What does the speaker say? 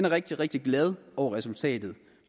rigtig rigtig glad over resultatet